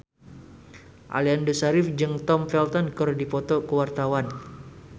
Aliando Syarif jeung Tom Felton keur dipoto ku wartawan